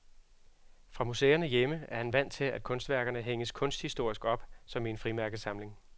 Fra museerne hjemme er han vant til, at kunstværkerne hænges kunsthistorisk op, som i en frimærkesamling.